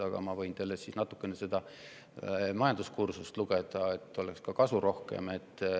Aga ma võin teile natukene majanduskursust lugeda, et oleks rohkem kasu.